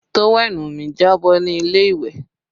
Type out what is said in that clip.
Tówẹ́ẹ̀nù mi jábọ́ ní ilé ìwẹ̀